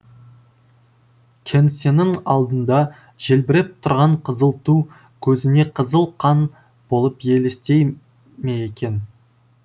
кеңсенің алдында желбіреп тұрған қызыл ту көзіне қызыл қан болып елестей ме екен